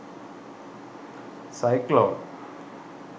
cyclone